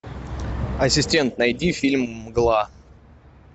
ассистент найди фильм мгла